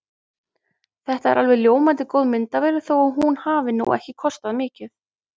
Þetta er alveg ljómandi góð myndavél þó að hún hafi nú ekki kostað mikið.